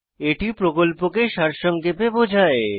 এটি প্রকল্পকে সারসংক্ষেপে বোঝায়